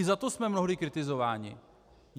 I za to jsme mnohdy kritizováni.